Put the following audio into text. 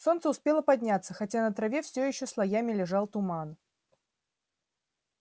солнце успело подняться хотя на траве всё ещё слоями лежал туман